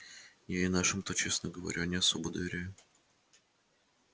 я и нашим-то честно говоря не особо доверяю